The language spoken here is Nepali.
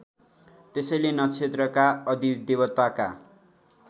त्यसैले नक्षत्रका अधिदेवताका